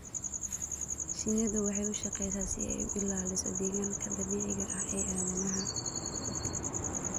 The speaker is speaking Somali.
Shinnidu waxay u shaqeysaa si ay u ilaaliso deegaanka dabiiciga ah ee aadanaha.